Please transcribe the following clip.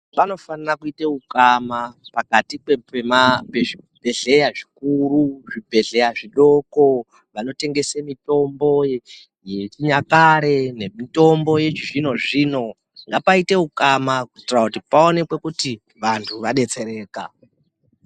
Panofanire kuite ukama pakati pe zvibhehleya zvikuru nezvibhehleya zvidoko vanotengese mitombo yechinyakare nemitombo yechizvinozvino ngapaite ukama kuitire kuti paonekwe kuti vanhu vadetsererka.